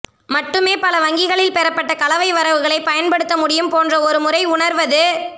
மட்டுமே பல வங்கிகளில் பெறப்பட்ட கலவை வரவுகளை பயன்படுத்த முடியும் போன்ற ஒரு முறை உணர்வது